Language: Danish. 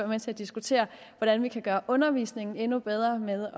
med til at diskutere hvordan vi kan gøre undervisningen endnu bedre ved